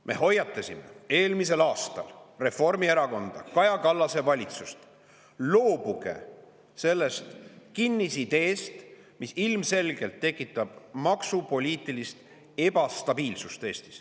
Me hoiatasime eelmisel aastal Reformierakonda, Kaja Kallase valitsust: loobuge sellest kinnisideest, mis ilmselgelt tekitab Eestis maksupoliitilist ebastabiilsust.